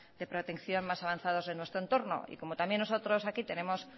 de protección más avanzados de nuestro entorno y como también nosotros aquí tenemos